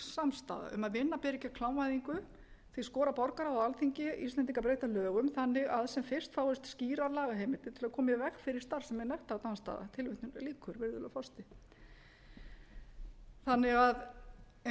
samstaða um að vinna beri gegn klámvæðingu því skorar borgarráð á alþingi íslendinga að breyta lögum þannig að sem fyrst fáist skýrar lagaheimildir til að koma í veg fyrir starfsemi nektardansstaða eins og